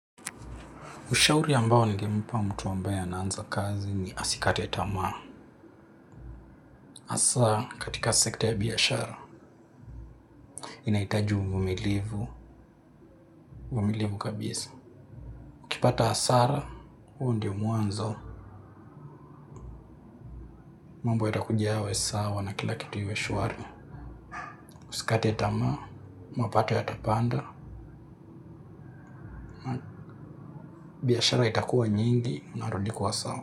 Ushauri ambao ningempa mtu ambaye anaanza kazi ni asikate tamaa. Hasaa, katika sekta ya biashara. Inahitaji uvumilivu, uvumilivu kabisa. Kipata hasara, huo ndio muanzo, mambo yatakuja yawe sawa na kila kitu iwe shuari. Usikate tamaa, mapato yata panda, biashara itakuwa nyingi, inarudi kuwa sawa.